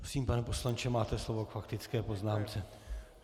Prosím, pane poslanče, máte slovo k faktické poznámce.